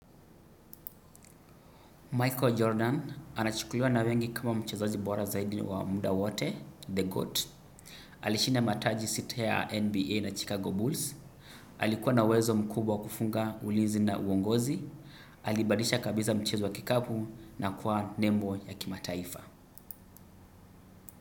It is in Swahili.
Michael Jordan anachukuliwa na wengi kama mchezaji bora zaidi wa muda wote the GOAT. Alishinda mataji sita ya NBA na Chicago Bulls. Alikuwa na wezo mkubwa kufunga ulinzi na uongozi. Alibadilisha kabisa mchezo wa kikapu na kuwa nembo ya kimataifa.